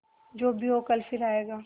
जो भी हो कल फिर आएगा